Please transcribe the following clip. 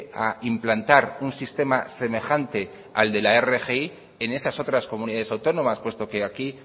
a implantar un sistema semejante al de la rgi en esas otras comunidades autónomas puesto que aquí